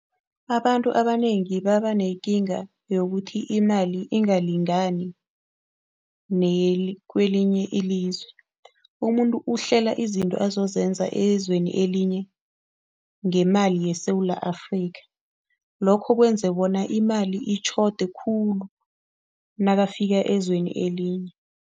Abantu abanengi babanekinga yokuthi imali ingalingani nekwelinye ilizwe. Umuntu uhlela izinto azozenza ezweni elinye ngemali yeSewula Afrika, lokho kwenza bona imali itjhode khulu nakafika ezweni elinye.